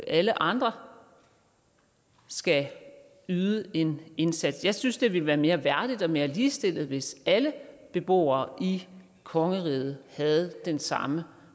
alle andre skal yde en indsats jeg synes det ville være mere værdigt og mere ligestillet hvis alle beboere i kongeriget havde den samme